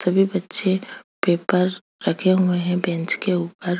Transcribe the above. सभी बच्चे पेपर रखे हुए है बेंच के ऊपर--